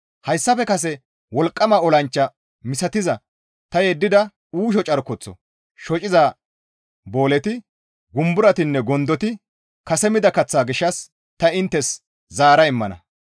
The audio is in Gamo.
Hayssafe kase wolqqama olanchcha misatiza ta yeddida uusho carkoththo shociza booleti, gumbarotinne gondoti, kase mida kaththaa gishshas ta inttes zaara immana.